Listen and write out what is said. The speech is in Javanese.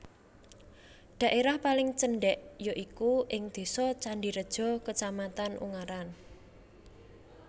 Dhaérah paling cendhèk ya iku ing Désa Candireja Kacamatan Ungaran